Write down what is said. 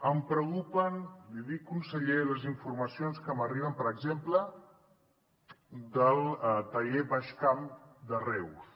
em preocupen l’hi dic conseller les informacions que m’arriben per exemple del taller baix camp de reus